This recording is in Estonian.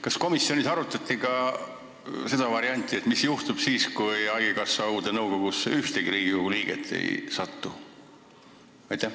Kas komisjonis arutati ka seda varianti, mis juhtub siis, kui haigekassa uude nõukogusse ei satu ühtegi Riigikogu liiget?